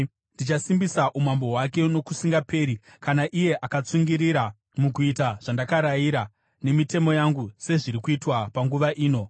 Ndichasimbisa umambo hwake nokusingaperi kana iye akatsungirira mukuita zvandakarayira nemitemo yangu sezviri kuitwa panguva ino.’